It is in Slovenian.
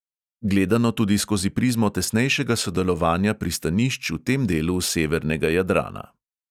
Gledano tudi skozi prizmo tesnejšega sodelovanja pristanišč v tem delu severnega jadrana.